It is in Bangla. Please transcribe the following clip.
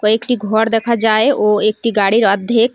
একটি ঘর দেখা যায় ও একটি গাড়ির অর্ধেক--